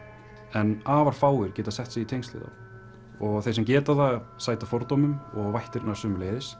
en afar fáir geta sett sig í tengsl við þá þeir sem geta það sæta fordómum og vættirnar sömuleiðis